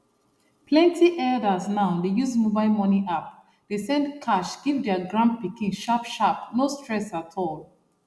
plenty elders now dey use mobile money app dey send cash give their grandpikin sharpsharp no stress at all